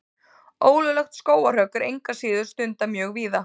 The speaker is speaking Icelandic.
Ólöglegt skógarhögg er engu að síður stundað mjög víða.